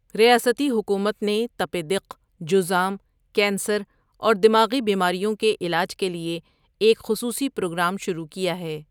ریاستی حکومت نے تپ دق، جذام، کینسر اور دماغی بیماریوں کے علاج کے لیے ایک خصوصی پروگرام شروع کیا ہے۔